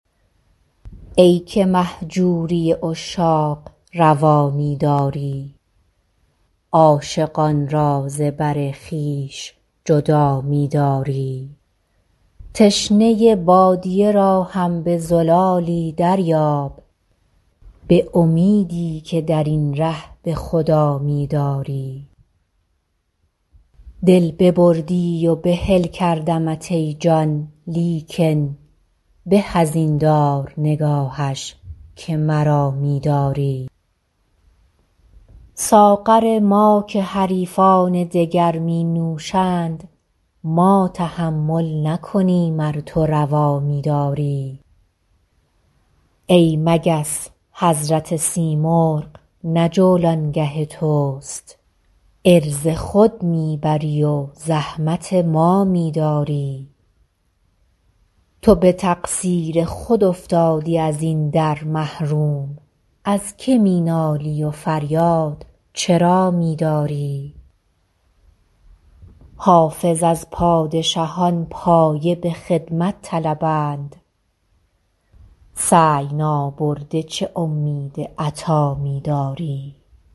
ای که مهجوری عشاق روا می داری عاشقان را ز بر خویش جدا می داری تشنه بادیه را هم به زلالی دریاب به امیدی که در این ره به خدا می داری دل ببردی و بحل کردمت ای جان لیکن به از این دار نگاهش که مرا می داری ساغر ما که حریفان دگر می نوشند ما تحمل نکنیم ار تو روا می داری ای مگس حضرت سیمرغ نه جولانگه توست عرض خود می بری و زحمت ما می داری تو به تقصیر خود افتادی از این در محروم از که می نالی و فریاد چرا می داری حافظ از پادشهان پایه به خدمت طلبند سعی نابرده چه امید عطا می داری